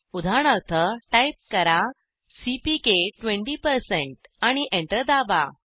उदाहरणार्थ टाईप करा सीपीके 20 आणि एंटर दाबा